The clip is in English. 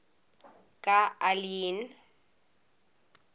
ga aliyin